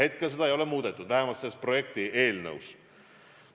Seni seda ei ole muudetud, vähemalt selles projekti eelnõus.